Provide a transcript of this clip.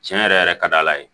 Tiɲɛ yɛrɛ yɛrɛ ka d' ala ye